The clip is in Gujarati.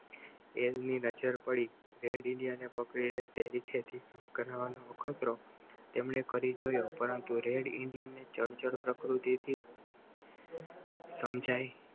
ની નજર પડી અખતરો તેમને કરી જોઈએ પરંતુ રેડ ઇન્ડિયન ચંચળ પ્રકૃતિથી સમજાય